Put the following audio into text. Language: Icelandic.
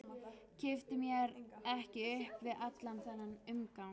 Kippti mér ekki upp við allan þennan umgang.